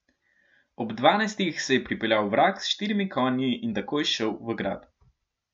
Ob dvanajstih se je pripeljal vrag s štirimi konji in takoj šel v grad.